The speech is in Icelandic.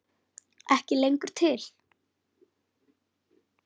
Ekki lengur til!